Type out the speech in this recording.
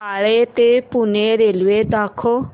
बाळे ते पुणे रेल्वे दाखव